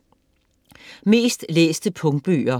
Mest læste punktbøger